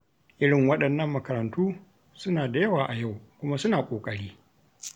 Irin waɗannan makarantu suna da yawa a yau, kuma suna ƙoƙari.